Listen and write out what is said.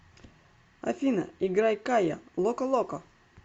афина играй кая локо локо